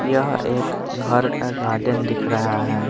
यह एक घर का गार्डन दिख रहा है।